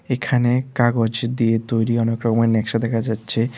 এইখানে কাগজ দিয়ে তৈরি অনেক রকমের ন্যাকশা দেখা যাচ্ছে।